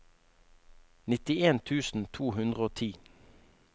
nittien tusen to hundre og ti